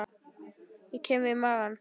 Ég kem við magann.